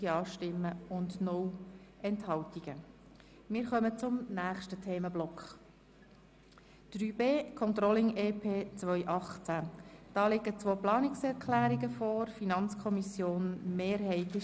Dabei ist bei allen Massnahmen der aktuelle Stand der Umsetzung hinsichtlich der erwarteten und realisierten finanziellen Effekte, der Auswirkungen auf die Gemeinden sowie der Auswirkungen auf den Stellenbestand darzustellen.